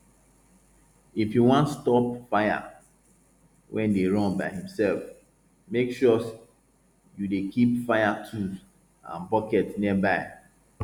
if you wan stop fire wey dey run by himself make sure you dey keep fire tools and bucket nearby